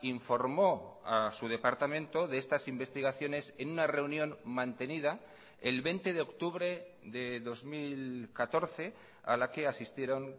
informó a su departamento de estas investigaciones en una reunión mantenida el veinte de octubre de dos mil catorce a la que asistieron